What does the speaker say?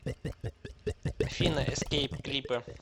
афина эскейп клипы